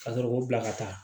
Ka sɔrɔ k'o bila ka taa